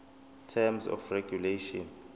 terms of regulation